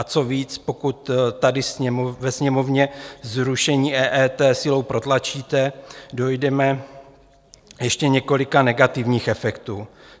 A co víc, pokud tady ve Sněmovně zrušení EET silou protlačíte, dojdeme ještě několika negativních efektů.